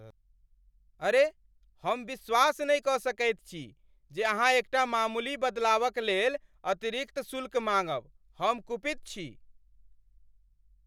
अरे, हम विश्वास नहि कऽ सकैत छी जे अहाँ एकटा मामूली बदलावक लेल अतिरिक्त शुल्क माङ्गब। हम कुपित छी।